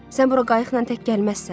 Sən bura qayıqla tək gəlməzsən.